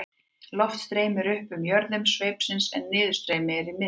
loft streymir upp í jöðrum sveipsins en niðurstreymi er í miðjunni